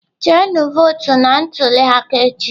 Jenu votu na ntuli aka echi!.